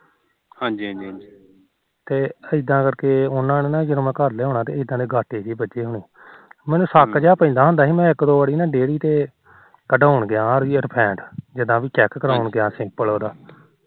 ਤੇ ਇਦਾ ਕਰਦੇ ਉਹ ਜਦੋਂ ਮੈ ਘਰ ਲਿਆਉਂਣਾ ਇਦਾ ਦੇ ਗਾਟੇ ਵੱਜੇ ਹੋਣੇ ਮੈਨੂੰ ਸ਼ੱਕ ਜਾ ਪੈਂਦਾ ਹੁੰਦਾ ਸੀ ਮੈ ਇੱਕ ਦੇ ਵੋਰ ਡੇਅਰੀ ਤੇ ਕਢਾਉਣ ਗਿਆ ਉਹਦੀ ਫੈਟ ਜਿਦਾ ਕ ਚੈਕ ਕਰਾਉਣ ਗਿਆ